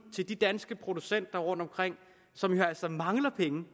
til de danske producenter rundtomkring som jo altså mangler penge